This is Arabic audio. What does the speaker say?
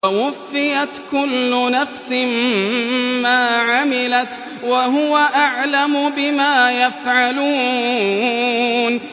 وَوُفِّيَتْ كُلُّ نَفْسٍ مَّا عَمِلَتْ وَهُوَ أَعْلَمُ بِمَا يَفْعَلُونَ